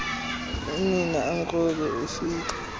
unina amkrobe ufika